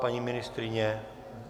Paní ministryně?